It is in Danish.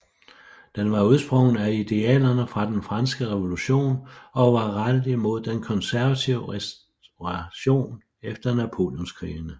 Den var udsprunget af idealerne fra den franske revolution og var rettet imod den konservative restauration efter Napoleonskrigene